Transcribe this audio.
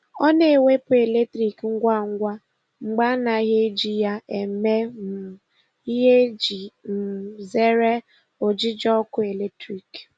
Ọ na-ewepụ eletriki ngwa ngwa mgbe a naghị eji ya eme um ihe iji um zere ojiji ọkụ eletrik.